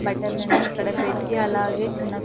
బట్టలు అని ఇక్కడ పెట్టి అలాగే చిన్న--